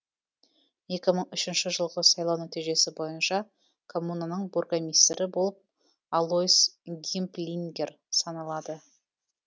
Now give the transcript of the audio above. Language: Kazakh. екі мың үшінші жылғы сайлау нәтижесі бойынша коммунаның бургомистрі болып алойс гимплингер саналады